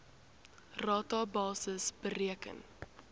rata basis bereken